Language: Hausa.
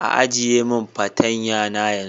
ajiye min patanya na yanzu.